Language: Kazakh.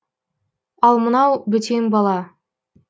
ал мынау бөтен бала